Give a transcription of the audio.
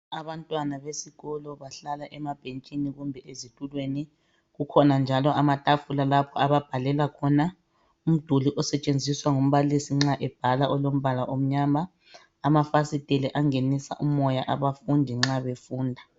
Abantwana besikolo, bahlala emabhentshini kumbe ezitulweni. Kukhona njalo amatafula, lapho, ababhalela khona nxa bebhala. Umduli osetshenziswa ngumbalisi nxa ebhala, olombala omnyama. Amafasitela angenisa umoya, abafundi nxa befunda.